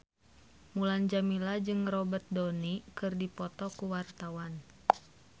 Mulan Jameela jeung Robert Downey keur dipoto ku wartawan